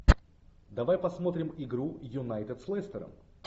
давай посмотрим игру юнайтед с лестером